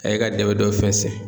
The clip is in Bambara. A ye ka dɛmɛ dɔw fɛnsɛ.